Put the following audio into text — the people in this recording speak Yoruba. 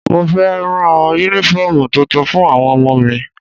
Mo fẹ́ rán Únífọ́ọ̀mù tuntun fún àwọn ọmọ mi